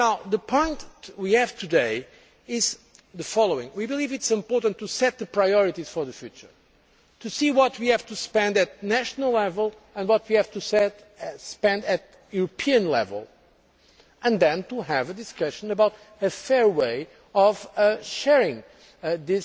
The point we are at today is the following we believe it is important to set priorities for the future, to see what we have to spend at national level and what we have to spend at European level, and then to have a discussion about the fair way of sharing that